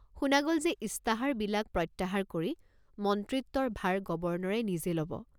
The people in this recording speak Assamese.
শুনা গল যে ইস্তাহাৰবিলাক প্ৰত্যাহাৰ কৰি মন্ত্ৰিত্বৰ ভাৰ গৱৰ্ণৰে নিজে লব।